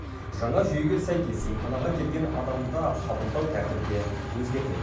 жаңа жүйеге сәйкес емханаға келген адамды қабылдау тәртібі де өзгермек